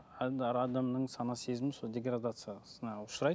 адамның сана сезімінің сол деградациясына ұшырайды